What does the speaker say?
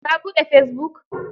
Ka buɗe fesibuk?